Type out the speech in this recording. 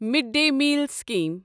mid day meal scheme